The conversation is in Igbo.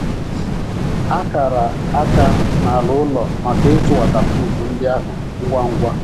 A kara akara n’ala ụlọ maka ịtụ wọtapruf ndị ahụ ngwa ngwa.